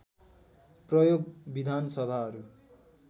प्रयोग विधान सभाहरू